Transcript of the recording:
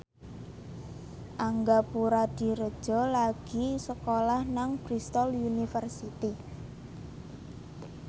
Angga Puradiredja lagi sekolah nang Bristol university